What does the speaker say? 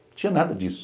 Não tinha nada disso.